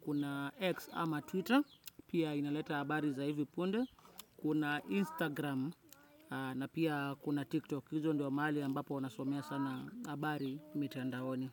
kuna X ama Twitter pia inaleta habari za hivi punde, kuna Instagram na pia kuna TikTok, izo ndio mahali ambapo nasomea sana habari mitandahoni.